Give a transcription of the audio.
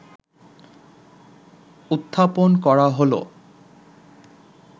উত্থাপন করা হলো